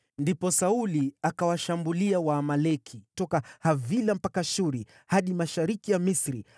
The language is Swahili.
Ndipo Sauli akawashambulia Waamaleki toka Havila mpaka Shuri, hadi mashariki ya Misri.